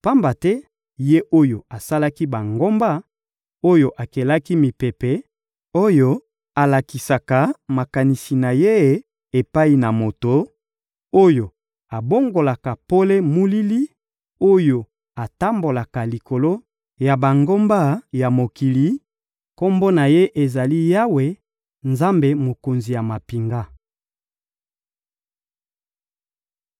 Pamba te Ye oyo asalaki bangomba, oyo akelaki mipepe, oyo alakisaka makanisi na Ye epai na moto, oyo abongolaka pole molili, oyo atambolaka likolo ya bangomba ya mokili, Kombo na Ye ezali: Yawe, Nzambe Mokonzi ya mampinga.